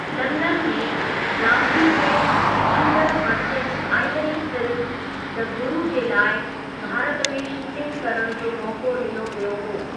London में, जाफरी खे इंदड़ु Merchant Ivory film, the Guru जे लाइ भारत में शूटिंग करणु जो मौक़ो डि॒नो वियो हुओ ।